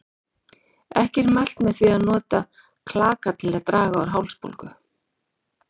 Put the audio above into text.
Ekki er mælt með því að nota klaka til að draga úr hálsbólgu.